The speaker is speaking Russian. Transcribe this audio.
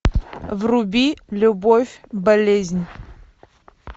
вруби любовь болезнь